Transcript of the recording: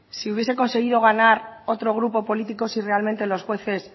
si hubiese conseguido ganar otro grupo político si realmente los jueces